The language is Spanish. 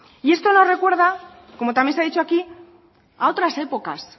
y esto nos recuerda como también se ha dicho aquí a otras épocas